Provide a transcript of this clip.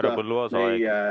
Härra Põlluaas, aeg!